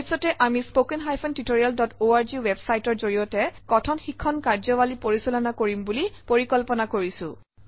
ভৱিষ্যতে আমি spoken tutorialঅৰ্গ ৱেবচাইটৰ জৰিয়তে কথন শিক্ষণ কাৰ্যাৱলী পৰিচালনা কৰিম বুলি পৰিকল্পনা কৰিছোঁ